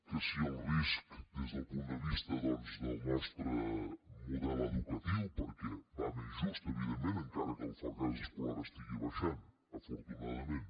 que si el risc des del punt de vista doncs del nostre model educatiu perquè va més just evidentment encara que el fracàs escolar estigui baixant afortunadament